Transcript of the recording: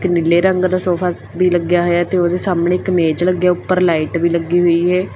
ਨੀਲੇ ਰੰਗ ਦਾ ਸੋਫਾ ਵੀ ਲੱਗਿਆ ਹੋਇਆ ਤੇ ਉਹਦੇ ਸਾਹਮਣੇ ਇੱਕ ਮੇਜ ਲੱਗਿਆ ਉਪਰ ਲਾਈਟ ਵੀ ਲੱਗੀ ਹੋਈ ਹੈ।